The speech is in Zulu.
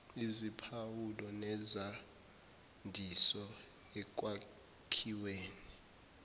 iziphawulo nezandiso ekwakhiweni